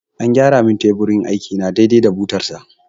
An gyara mun teburin aiki na dai dai da butar sa